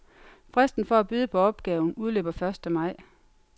Fristen for at byde på opgaven udløber første maj.